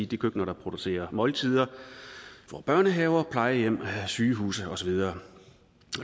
de køkkener der producerer måltider for børnehaver plejehjem sygehuse og så videre